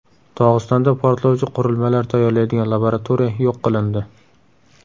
Dog‘istonda portlovchi qurilmalar tayyorlaydigan laboratoriya yo‘q qilindi .